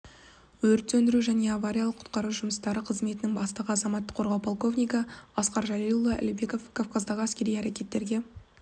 өрт сөндіру және авариялық-құтқару жұмыстары қызметінің бастығы азаматтық қорғау полковнигі асқар жәлелұлы әлбеков кавказдағы әскери әрекеттерге